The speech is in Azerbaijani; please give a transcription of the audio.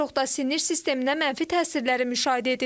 Ən çox da sinir sisteminə mənfi təsirləri müşahidə edilir.